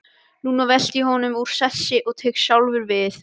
Núna velti ég honum úr sessi og tek sjálfur við.